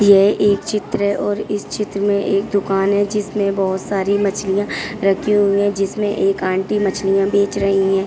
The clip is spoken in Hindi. यह एक चित्र है और इस चित्र में एक दुकान है जिसमें बहोत सारी मछलियाँ रखी हुई हैं जिसमें एक आंटी मछलियाँ बेच रही हैं।